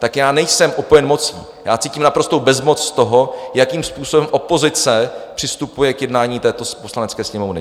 Tak já nejsem opojen mocí, já cítím naprostou bezmoc z toho, jakým způsobem opozice přistupuje k jednání této Poslanecké sněmovny.